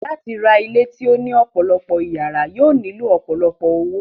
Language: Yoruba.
Láti ra ilé tí ó ní ọ̀pọ̀ ìyàrá yóò nílò ọ̀pọ̀lọpọ̀ owó.